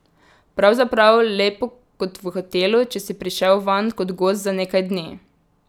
Pravzaprav lepo kot v hotelu, če si prišel vanj kot gost za nekaj dni.